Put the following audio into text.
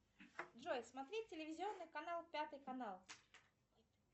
джой смотреть телевизионный канал пятый канал